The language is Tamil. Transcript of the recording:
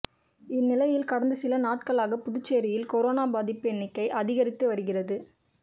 இந்நிலையில் கடந்த சில நாட்களாக புதுச்சேரியில் கொரோனா பாதிப்பு எண்ணிக்கை அதிகரித்து வருகிறது